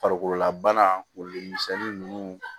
Farikololabana ko de misɛnnin nunnu